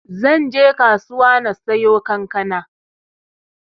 Zanbje kasuwa na siyo kankana.